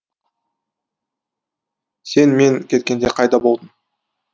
сен мен кеткенде қайда болдың